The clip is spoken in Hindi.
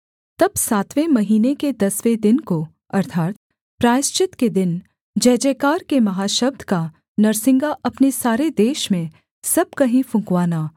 तब सातवें महीने के दसवें दिन को अर्थात् प्रायश्चित के दिन जय जयकार के महाशब्द का नरसिंगा अपने सारे देश में सब कहीं फुँकवाना